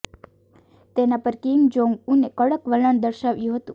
તેના પર Kim Jong ઉને કડક વલણ દર્શાવ્યું હતું